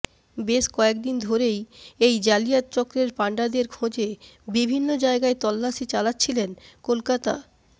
বেশ কয়েক দিন ধরেই এই জালিয়াত চক্রের পাণ্ডাদের খোঁজে বিভিন্ন জায়গায় তল্লাশি চালাচ্ছিলেন কলকাতা